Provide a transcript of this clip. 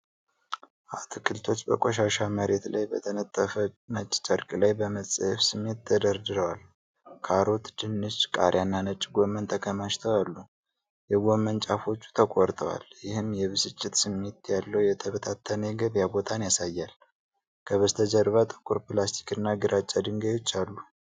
አትክልቶች በቆሻሻ መሬት ላይ በተነጠፈ ነጭ ጨርቅ ላይ በመጸየፍ ስሜት ተደርድረዋል። ካሮት፣ ድንች፣ ቃሪያና ነጭ ጎመን ተከማችተው አሉ። የጎመን ጫፎቹ ተቆርጠዋል፤ ይህም የብስጭት ስሜት ያለው የተበታተነ የገበያ ቦታን ያሳያል። ከበስተጀርባ ጥቁር ፕላስቲክና ግራጫ ድንጋዮች አሉ።